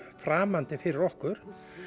framandi fyrir okkur